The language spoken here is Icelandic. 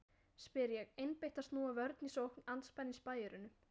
spyr ég, einbeitt að snúa vörn í sókn andspænis spæjurunum.